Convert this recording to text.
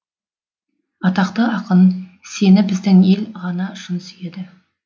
атақты ақын сені біздің ел ғана шын сүйеді